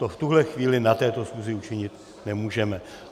To v tuhle chvíli na této schůzi učinit nemůžeme.